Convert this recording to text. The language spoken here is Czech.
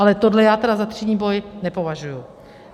Ale tohle já tedy za třídní boj nepovažuji.